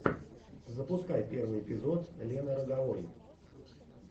запускай первый эпизод лены роговой